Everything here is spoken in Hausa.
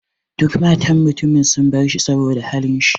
Duka matan mutumin sun bar shi saboda halin shi.